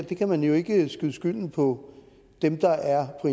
kan jo ikke skyde skylden på dem der er på